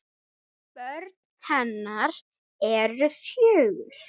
Börn hennar eru fjögur.